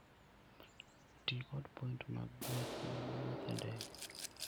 Ti kod points mag gweth mag wuoth e ndege.